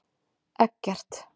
Eggert